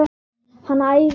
Hann æfir líka.